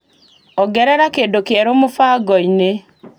Ongerera kĩndũ kĩerũ mũbango-inĩ .